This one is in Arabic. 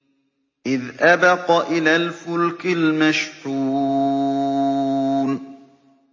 إِذْ أَبَقَ إِلَى الْفُلْكِ الْمَشْحُونِ